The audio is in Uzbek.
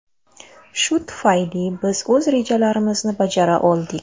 Shu tufayli biz o‘z rejalarimizni bajara oldik.